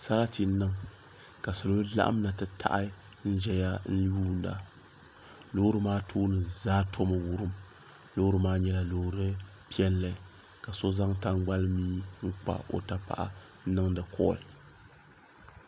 Sarati n niŋ ka salo laɣim na titaɣi n zaya n yuuna loori maa tooni zaa tomi wurim Loori maa nyɛla loori piɛlli ka so zaŋ taŋgalimii n kpa o yapaɣa n niŋdi kolli.